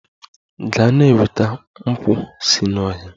Gaa na-enweta nkwu si n'ọhịa!